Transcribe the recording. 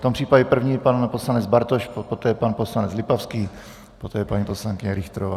V tom případě první pan poslanec Bartoš, poté pan poslanec Lipavský, poté paní poslankyně Richterová.